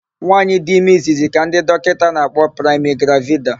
Nwaanyị dị ime izizzi ka ndị dọkịta na-akpọ praịmigravida.